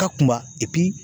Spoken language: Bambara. Ka kuma